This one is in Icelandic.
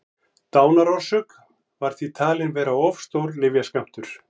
dánarorsök var því talin vera of stór lyfjaskammtur